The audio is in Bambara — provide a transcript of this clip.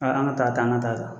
Aa, an ka taa ta, an ka taa ta.